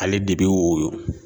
Ale de bɛ woyo